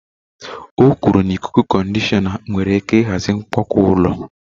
O kwuru na ikuku-conditioner nwere ike ịhazi mkpomọkụ ụlọ.